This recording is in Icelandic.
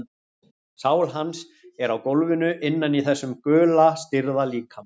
Sál hans er á gólfinu innan í þessum gula stirða líkama.